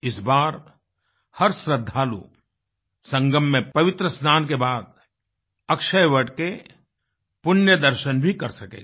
इस बार हर श्रद्धालु संगम में पवित्र स्नान के बाद अक्षयवट के पुण्य दर्शन भी कर सकेगा